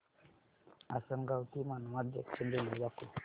आसंनगाव ते Manmad junction railway दाखव